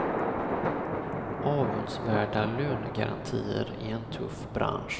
Avundsvärda lönegarantier i en tuff bransch.